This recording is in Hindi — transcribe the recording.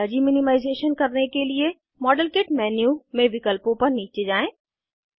एनर्जी मिनिमाइज़ेशन करने के लिए मॉडेल किट मेन्यू में विकल्पों पर नीचे जाएँ